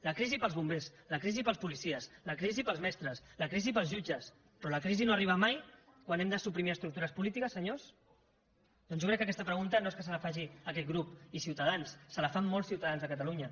la crisi per als bombers la crisi per als policies la crisi per als mestres la crisi per als jutges però la crisi no arriba mai quan hem de suprimir estructures polítiques senyors doncs jo crec que aquesta pregunta no és que se la faci aquest grup i ciutadans se la fan molts ciutadans de catalunya